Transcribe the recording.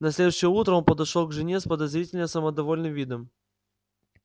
на следующее утро он подошёл к жене с подозрительно самодовольным видом